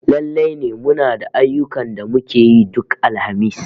Lallai ne muna da ayyukan da muke yi duk Alhamis